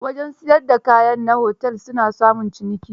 Wajen siyar da kayan na otel su na samun ciniki.